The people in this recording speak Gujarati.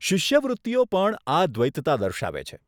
શિષ્યવૃત્તિઓ પણ આ દ્વૈતતા દર્શાવે છે.